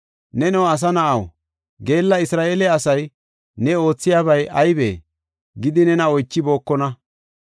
“Neno asa na7aw, geella Isra7eele asay, ‘Ne oothiyabay aybee?’ gidi nena oychibookona?